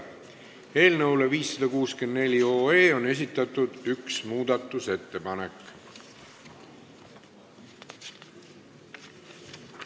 Eelnõu 564 muutmiseks on esitatud üks ettepanek.